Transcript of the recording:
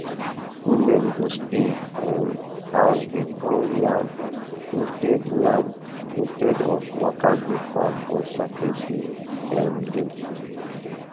women go stay um house dey pound yam instead yam instead of waka go farm on sacred um day